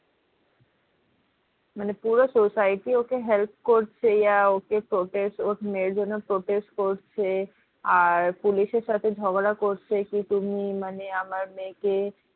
মানে পুরো society ওকে help করছে ওর মেয়ের জন্য protest করছে আর পুলিশ এর সাথে ঝগড়া করছে কি তুমি মানে আমার মেয়ে কে